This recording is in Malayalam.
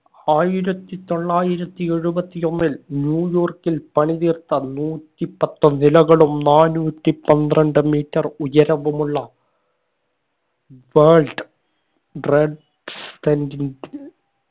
ആയിരത്തി തൊള്ളായിരത്തി എഴുപത്തി ഒന്നിൽ ന്യൂയോർക്കിൽ പണിതീർത്ത നൂറ്റിപ്പത്ത് നിലകളും നാനൂറ്റി പന്ത്രണ്ട് metre ഉയരവുമുള്ള world trade